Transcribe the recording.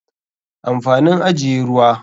Amfanin ajiye ruwa.